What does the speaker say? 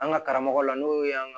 An ka karamɔgɔw la n'o ye an ga